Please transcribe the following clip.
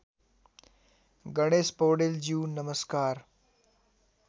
गणेश पौडेलज्यू नमस्कार